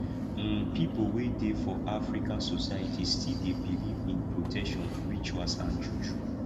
um pipo wey dey for african societies still dey believe in protection rituals and juju